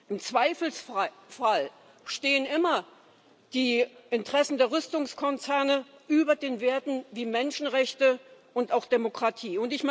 Im Zweifelsfall stehen immer die Interessen der Rüstungskonzerne über den Werten wie Menschenrechte und auch Demokratie.